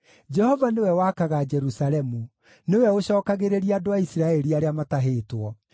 Jehova nĩwe wakaga Jerusalemu; nĩwe ũcookagĩrĩria andũ a Isiraeli arĩa matahĩtwo.